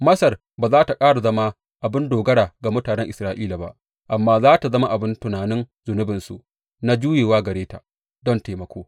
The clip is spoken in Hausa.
Masar ba za tă ƙara zama abin dogara ga mutanen Isra’ila ba amma za tă zama abin tunin zunubinsu na juyawa gare ta don taimako.